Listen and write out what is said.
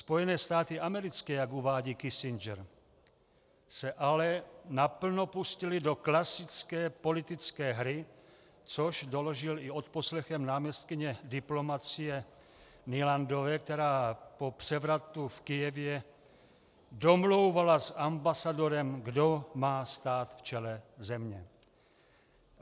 Spojené státy americké, jak uvádí Kissinger, se ale naplno pustily do klasické politické hry, což doložily i odposlechem náměstkyně diplomacie Nulandové, která po převratu v Kyjevě domlouvala s ambasadorem, kdo má stát v čele země.